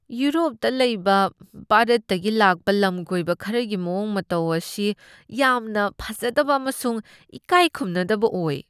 ꯌꯨꯔꯣꯞꯇ ꯂꯩꯕ ꯚꯥꯔꯠꯇꯒꯤ ꯂꯥꯛꯄ ꯂꯝꯀꯣꯏꯕ ꯈꯔꯒꯤ ꯃꯑꯣꯡ ꯃꯇꯧ ꯑꯁꯤ ꯌꯥꯝꯅ ꯐꯖꯗꯕ ꯑꯃꯁꯨꯡ ꯏꯀꯥꯏ ꯈꯨꯝꯅꯗꯕ ꯑꯣꯏ ꯫